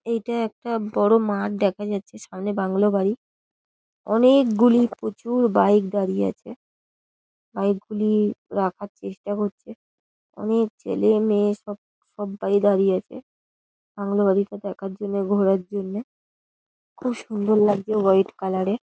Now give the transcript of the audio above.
এইটা একটা বড় মাঠ দেখা যাচ্ছে সামনে বাংলো বাড়ি। অনেকগুলি প্রচুর বাইক দাঁড়িয়ে আছে। বাইক গুলি রাখার চেষ্টা হচ্ছে। অনেক ছেলে মেয়ে সব সব্বাই দাঁড়িয়ে আছে বাংলো বাড়িটি দেখার জন্যে ঘোরার জন্যে। খুব সুন্দর লাগছে হোয়াইট কালার -এর।